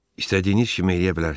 İstədiyiniz kimi eləyə bilərsiz.